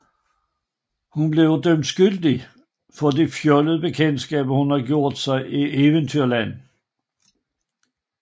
Hun bliver dømt skyldig af de fjollede bekendtskaber hun har gjort sig i Eventyrland